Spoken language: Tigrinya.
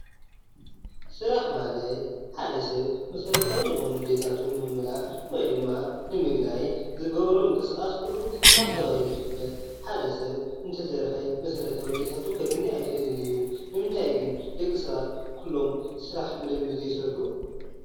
ስራሕ ማለት ሓደ ሰብ መሰረታዊ ዝኾኑ ድልየታቱ ንምምላእ ወይ ድማ ንምግናይ ዝገብሮ ምንቅስቃስ ኹሉ ስራሕ ተባሂሉ ይፍለጥ። ሓደ ሰብ እንተይሰርሐ መሰረታዊ ድልየታቱ ከግኒ አይክእልን እዩ። ንምንታይ ግን ደቂ ሰባት ኩሎም ስራሕ ብደንቢ ዘይሰርሑ?